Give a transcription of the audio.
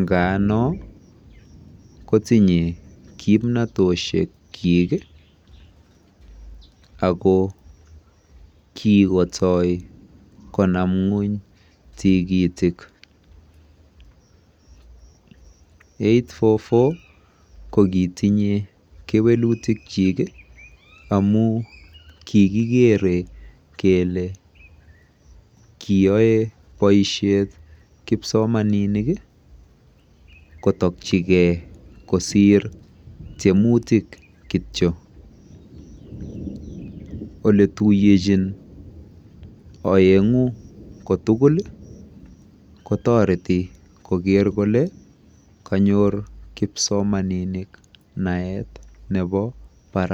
nga noo kotinyei kimnatosiek kyiik ii ako kikotoi konam kweeny tikitiik [eight four four] ko kitinyei kewelutiik kyik amuun kigikerei kele kiyae kipsomaninik kotakyigei kosiir tiemutiik kityo ole tuyenjiin aenguunh ko tugul ii kotaretii koger kanyoor kipsomaninik naet nebo barak.